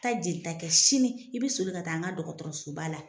Taa jelita kɛ sini i bi soli ka taa n ga dɔkɔtɔrɔsoba la.